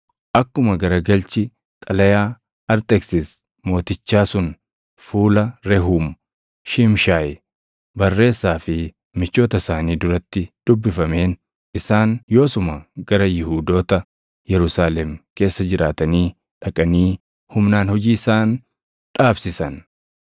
Akkuma garagalchi xalayaa Arxeksis Mootichaa sun fuula Rehuum, Shiimshaayi barreessaa fi michoota isaanii duratti dubbifameen isaan yoosuma gara Yihuudoota Yerusaalem keessa jiraatanii dhaqanii humnaan hojii isaan dhaabsisan.